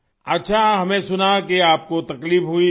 اچھا ہم نے سنا ہے کہ آپ کو تکلیف ہوئی تھی